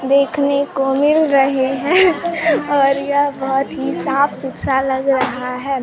देखने को मिल रहे है और यह बहोत ही साफ सुथरा लग रहा है।